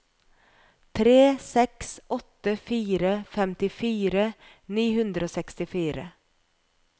tre seks åtte fire femtifire ni hundre og sekstifire